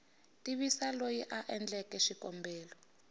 tivisa loyi a endleke xikombelo